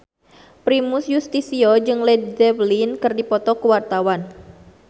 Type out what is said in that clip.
Primus Yustisio jeung Led Zeppelin keur dipoto ku wartawan